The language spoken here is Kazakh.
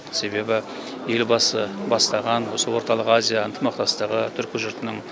себебі елбасы бастаған осы орталық азия ынтымақтастығы түркі жұртының